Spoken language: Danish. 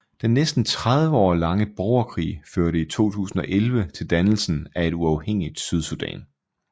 Den næsten 30 år lange borgerkrig førte i 2011 til dannelsen af et uafhængigt Sydsudan